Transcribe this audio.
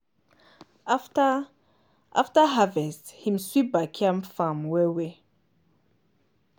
after after harvest him sweep backyard farm well-well.